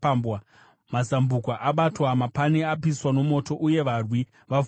mazambuko abatwa, mapani apiswa nomoto, uye varwi vavhundutswa.”